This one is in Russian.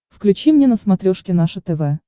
включи мне на смотрешке наше тв